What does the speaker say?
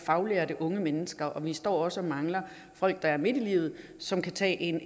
faglærte unge mennesker og vi står også og mangler folk der er midt i livet som kan tage en